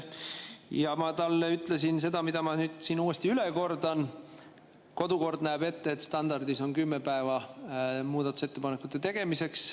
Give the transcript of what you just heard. Ma ütlesin talle seda, mille ma siin uuesti üle kordan: kodukord näeb ette, et standardis on kümme päeva muudatusettepanekute tegemiseks.